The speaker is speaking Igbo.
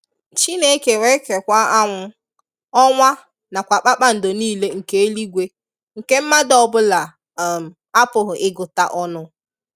Chineke wee kekwaa anwụ, ọnwa na kwa kpakpando niile nke eluigwe nke mmadụ ọbụla um apụghị ịgụta ọnụ.